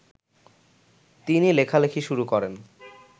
তিনি লেখালেখি শুরু করেন